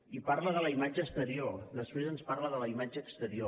i parla de la imatge exterior després ens parla de la imatge exterior